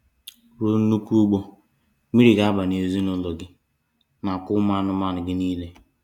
Ruo nnukwu ụgbọ mmiri ga-aba ezinụlọ gị na kwa ụmụ anụmanụ gị niile.